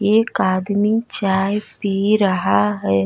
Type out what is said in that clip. एक आदमी चाय पी रहा है।